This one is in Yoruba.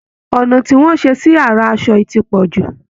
Ọnà tí wọ́n ṣe sí ara aṣọ yìí ti pọ̀ jù